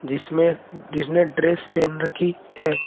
जिसमें जिसने ड्रेस पहन रखी है।